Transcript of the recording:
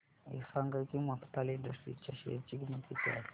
हे सांगा की मफतलाल इंडस्ट्रीज च्या शेअर ची किंमत किती आहे